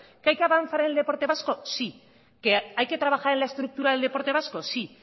que hay que avanzar en el deporte vasco sí que hay que trabajar en la estructura del deporte vasco sí